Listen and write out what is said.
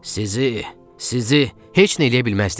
Sizi, sizi heç nə eləyə bilməzdiniz.